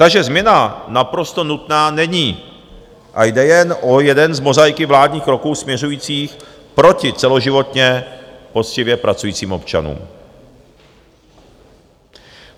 Takže změna naprosto nutná není a jde jen o jeden z mozaiky vládních kroků směřujících proti celoživotně poctivě pracujícím občanům.